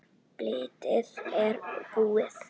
Blýið er búið.